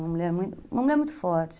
Uma mulher muito, uma mulher forte.